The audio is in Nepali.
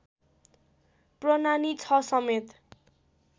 प्रनानि ६ समेत